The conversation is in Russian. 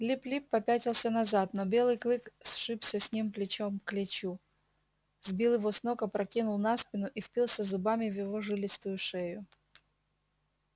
лип лип попятился назад но белый клык сшибся с ним плечо к плечу сбил его с ног опрокинул на спину и впился зубами в его жилистую шею